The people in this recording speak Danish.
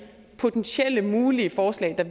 potentielle mulige forslag der